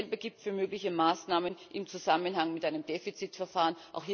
Dasselbe gilt für mögliche Maßnahmen im Zusammenhang mit einem Defizitverfahren.